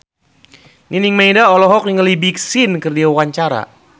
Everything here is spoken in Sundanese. Nining Meida olohok ningali Big Sean keur diwawancara